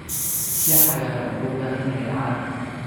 Shaaha cagaaran wuxuu u baahan yahay caano.